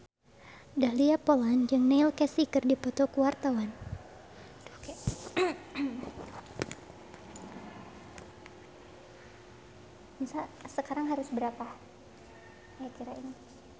Dahlia Poland jeung Neil Casey keur dipoto ku wartawan